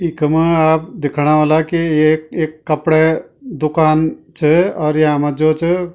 इखमा आप दिखणा ह्वोला कि एक ऐक कपडै दुकान च और यामा जो च।